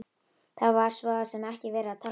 Það var svo sem ekki verið að tala um kaup.